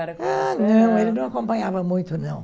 Ah, não, ele não acompanhava muito, não.